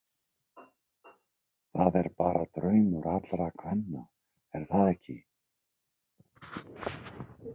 Það er bara draumur allra kvenna er það ekki?